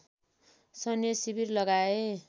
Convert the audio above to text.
सैन्य शिविर लगाए